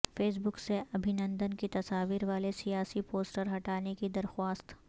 face بک سے ابھینندن کی تصاویر والے سیاسی پوسٹر ہٹانے کی درخواست